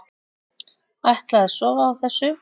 Ætla að sofa á þessu